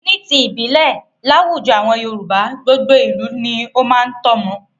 Ni ti ìbílẹ̀, láwùjọ àwọn Yorùbá, gbogbo ìlú ni ó máa ń tọ́mọ.